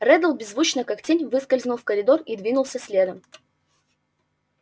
реддл беззвучно как тень выскользнул в коридор и двинулся следом